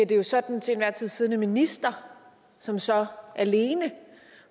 det jo så den til enhver tid siddende minister som så alene